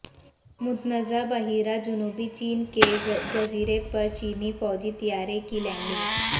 متنازع بحیرہ جنوبی چین کے جزیرے پر چینی فوجی طیارے کی لینڈنگ